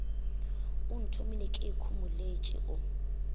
o nthomile ke ikhomoletše o